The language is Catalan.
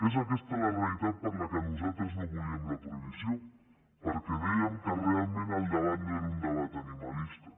és aquesta la realitat per què nosaltres no volíem la prohibició perquè dèiem que realment el debat no era un debat animalista